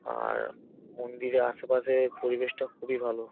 আর মন্দিরে আশেপাশে পরিবেশটা খুবই ভালো ।